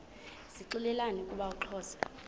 zixelelana ukuba uxhosa